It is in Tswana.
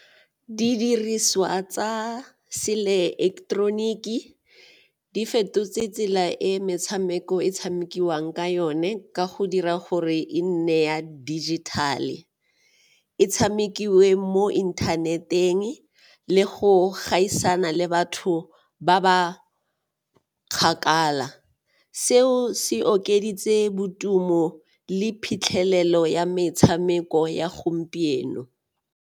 Didiriswa tsa se-electronic-ke di fetotse tsela e metshameko e tshamekiwang ka yone ka go dira gore e nne ya dijithale, e tshamekiwe mo inthaneteng le go gaisana le batho ba ba kgakala. Seo se okeditse le phitlhelelo ya metshameko ya gompieno.